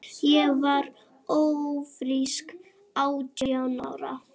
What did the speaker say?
Ég varð ófrísk átján ára.